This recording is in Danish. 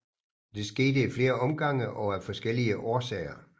Det skete i flere omgange og af forskellige årsager